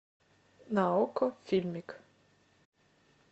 на окко фильмик